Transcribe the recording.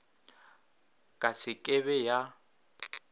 ka se ke be ya